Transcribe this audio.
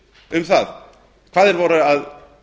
um það hvað þeir voru að